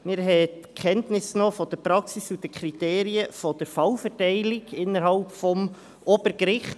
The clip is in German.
Wir haben Kenntnis genommen von der Praxis und den Kriterien der Fallverteilung innerhalb des Obergerichts.